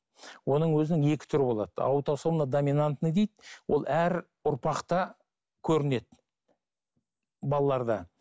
оның өзінің екі түрі болады аутосомно доминантный дейді ол әр ұрпақта көрінеді балаларда